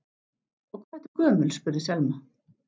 Og hvað ertu gömul spurði Selma.